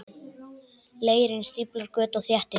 Leirinn stíflar göt og þéttir.